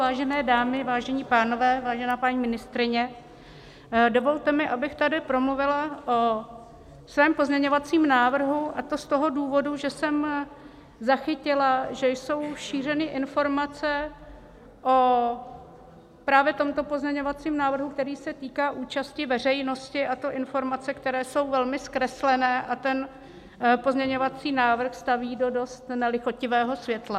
Vážené dámy, vážení pánové, vážená paní ministryně, dovolte mi, abych tady promluvila o svém pozměňovacím návrhu, a to z toho důvodu, že jsem zachytila, že jsou šířeny informace o právě tomto pozměňovacím návrhu, který se týká účasti veřejnosti, a to informace, které jsou velmi zkreslené a ten pozměňovací návrh staví do dost nelichotivého světla.